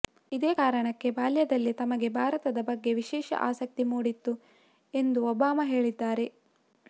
ಇದೇ ಕಾರಣಕ್ಕೆ ಬಾಲ್ಯದಲ್ಲೇ ತಮಗೆ ಭಾರತದ ಬಗ್ಗೆ ವಿಶೇಷ ಆಸಕ್ತಿ ಮೂಡಿತ್ತು ಎಂದು ಒಬಾಮ ಹೇಳಿದ್ದಾರೆ